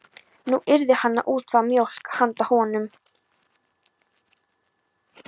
Nú yrði hann að útvega mjólk handa honum.